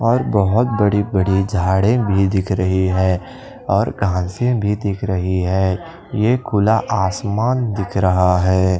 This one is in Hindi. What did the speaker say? और बहोत बड़ी-बड़ी झाड़ें भी दिख रही है और घांसे भी दिख रही है ये खुला आसमान दिख रहा है।